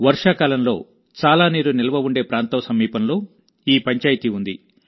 వర్షాకాలంలో చాలా నీరు నిల్వ ఉండే ప్రాంతం సమీపంలో ఈ పంచాయతీ ఉంది